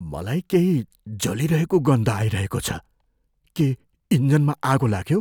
मलाई केही जलिरहेको गन्ध आइरहेको छ। के इन्जिनमा आगो लाग्यो?